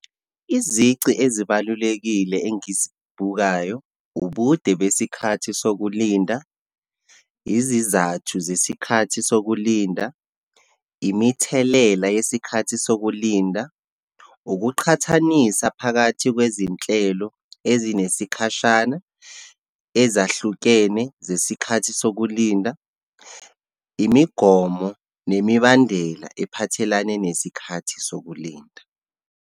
Izici ezibalulekile engizibukayo, ubude besikhathi sokulinda, izizathu zesikhathi sokulinda, imithelela yesikhathi sokulinda, ukuqhathanisa phakathi kwezinhlelo ezinesikhashana ezahlukene zesikhathi sokulinda, imigomo nemibandela ephathelane nesikhathi sokulinda.